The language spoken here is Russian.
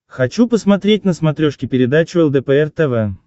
хочу посмотреть на смотрешке передачу лдпр тв